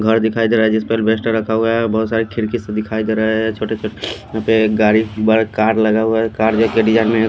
घर दिखाई दे रहा है जिसपे अलबेस्टर रखा हुआ है बहुत सारे खिड़की से दिखाई दे रहा है छोटे छोटे यहां पे एक गाड़ी बड़ा कार लगा हुआ है कार में--